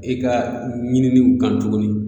E ka ɲiniliw kan tuguni